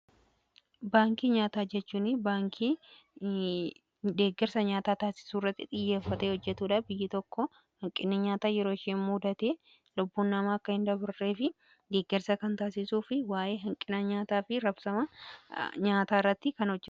Baankii nyaataa jechuun baankii deeggarsa nyaataa taasisuurratti xiyyeeffate hojjetuudha. Biyyi tokko hanqinni nyaataa yeroo ishee mudate lubbuun namaa akka hin dabarree fi deeggarsa kan taasisuu fi waa'ee hanqina nyaataa fi raabsama nyaataa irratti kan hojjatudha.